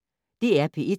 DR P1